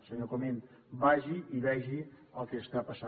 senyor comín vagi i vegi el que està passant